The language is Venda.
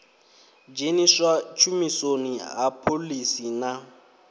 dzheniswa tshumisoni ha phoḽisi na